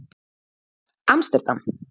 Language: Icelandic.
Amsterdam